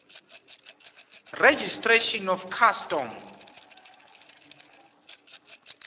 registration of custom